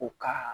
U ka